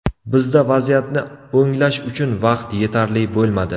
Bizda vaziyatni o‘nglash uchun vaqt yetarli bo‘lmadi.